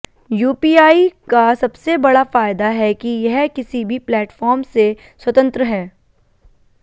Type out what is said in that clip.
UPI का सबसे बड़ा फायदा है कि यह किसी भी प्लेटफॉर्म से स्वतंत्र है